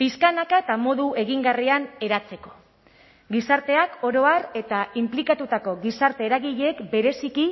pixkanaka eta modu egingarrian eratzeko gizarteak oro har eta inplikatutako gizarte eragileek bereziki